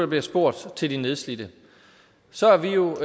bliver spurgt til de nedslidte så er vi jo